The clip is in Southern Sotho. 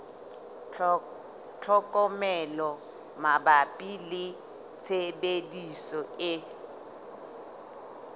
tlhokomelo mabapi le tshebediso e